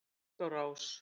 Og tók á rás.